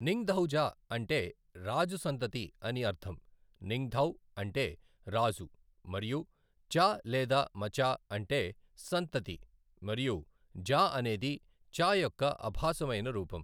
నింగ్థౌజ అంటే రాజు సంతతి అని అర్ధం, నింగ్థౌ అంటే రాజు మరియు చ లేదా మచా అంటే సంతతి మరియు జా అనేది చ యొక్క అభాసమైన రూపం.